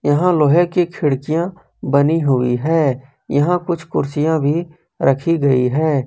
यहां लोहे की खिड़कियां बनी हुई है यहां कुछ कुर्सियां भी रखी गई है।